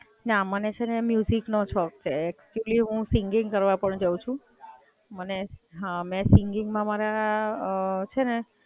ના, મને છે ને મ્યુજિક નો શોખ છે. એક્ચુઅલ્લી હું સિંગિંગ કરવા પણ જાઉ છું. હાં, મને સિંગિંગ માં મારા છે ને,